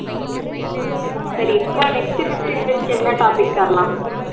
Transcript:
சரி இப்ப next fifteen minutes க்கு என்ன topic தரலாம்